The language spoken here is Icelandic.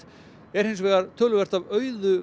er hins vegar töluvert af auðu